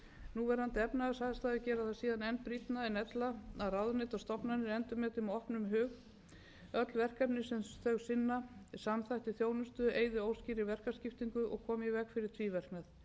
núverandi efnahagsaðstæður gera það síðan enn brýnna en ella að ráðuneyti og stofnanir endurmeti með opnum hug öll verkefni sem þau sinna samþætti þjónustu eyði óskýrri verkaskiptingu og komi í veg fyrir tvíverknað